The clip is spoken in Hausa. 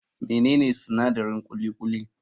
Menene sinadarin kuli kuli>?